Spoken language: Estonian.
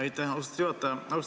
Aitäh, austatud juhataja!